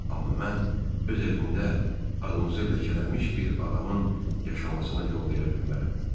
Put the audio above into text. Amma mən öz evimdə adımızı ləkələmiş bir adamın yaşamasına yol verə bilmərəm.